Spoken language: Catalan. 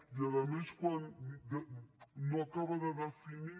i a més quan no acaba de definir